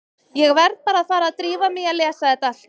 Ég verð bara að fara að drífa mig í að lesa þetta allt.